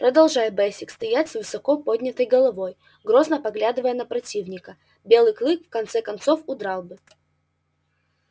продолжай бэсик стоять с высоко поднятой головой грозно поглядывая на противника белый клык в конце концов удрал бы